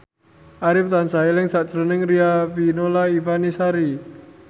Arif tansah eling sakjroning Riafinola Ifani Sari